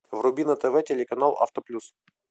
вруби на тв телеканал авто плюс